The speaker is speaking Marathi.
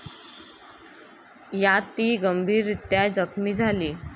यात ती गंभीररीत्या जखमी झाली.